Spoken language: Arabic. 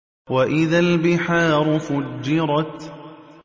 وَإِذَا الْبِحَارُ فُجِّرَتْ